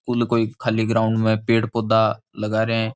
School कोई खाली ground मै पेड़ पौधा लगा रया है।